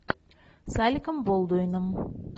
с алеком болдуином